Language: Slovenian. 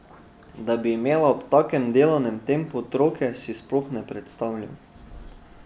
Da bi imela ob takem delovnem tempu otroke, si sploh ne predstavljam.